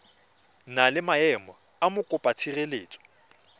na le maemo a mokopatshireletso